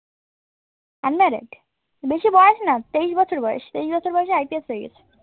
unmarried বেশি বয়স না তেইশ বছর বয়স তেইশ বছর বয়সে IPS হয়ে গেছি